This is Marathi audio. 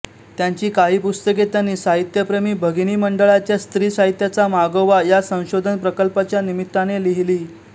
त्यांची काही पुस्तके त्यांनी साहित्यप्रेमी भगिनी मंडळाच्या स्त्री साहित्याचा मागोवा या संशोधन प्रकल्पाच्या निमित्ताने लिहिली